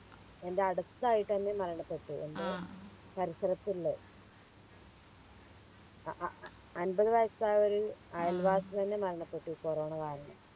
എൻറെ അടുത്തയിട്ടന്നെ മരണപ്പെട്ടു എൻറെ പരിസരത്തില്ലേ അഹ് അഹ് അമ്പത് വയസ്സായൊരു അയൽവാസി തന്നെ മരണപ്പെട്ടു കൊറോണ കാരണം